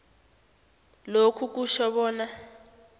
lokhu kutjho bona